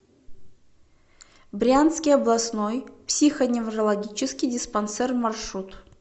брянский областной психоневрологический диспансер маршрут